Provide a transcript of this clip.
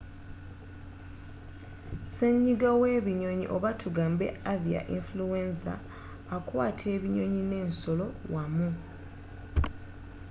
senyiga w'ebinyonyi oba tugambe avia influenza akwata ebinyonyi n'ensolo wamu